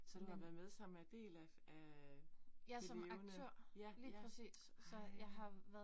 Så du har været med som er del af af de levende. Ja, ja. Ej